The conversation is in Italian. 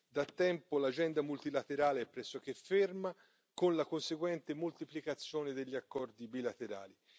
Da tempo l'agenda multilaterale è pressoché ferma, con la conseguente moltiplicazione degli accordi bilaterali.